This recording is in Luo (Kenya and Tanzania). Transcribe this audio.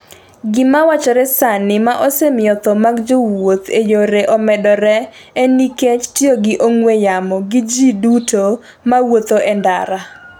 Gimawachore sani ma osemiyo tho mag jowuotho ​​e yore omedore en nikech tiyo gi ong'we yamo gi ji duto mawuotho e ndara